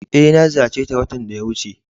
Eh, na ziyace ta watan da ya wuce.